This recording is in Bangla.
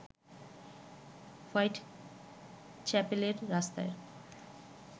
হোয়াইট চ্যাপেলের রাস্তার